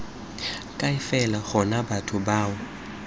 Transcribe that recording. kae fela gona batho bao